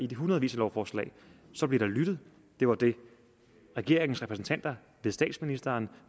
de hundredvis af lovforslag så bliver der lyttet det var det regeringens repræsentanter ved statsministeren